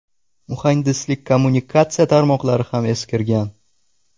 Muhandislik-kommunikatsiya tarmoqlari ham eskirgan.